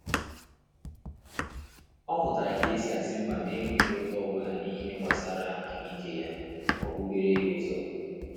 Ọ mụtara ka esi asị mba na enweghị ụ́tá ọbụla n'ihe gbasara ahụike ya,ọ bubere ya ụ́zọ̀